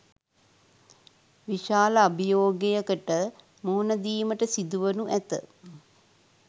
විශාල අභියෝගයකට මුහුණ දීමට සිදුවනු ඇත